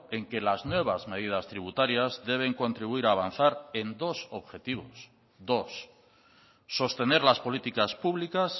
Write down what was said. en que las nuevas medidas tributarias deben contribuir a avanzar en dos objetivos dos sostener las políticas públicas